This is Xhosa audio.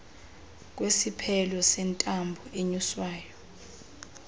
kwesiphelo sentambo enyuswayo